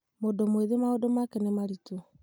mũndũ mwĩthĩ maũndũ make nĩ marĩtũ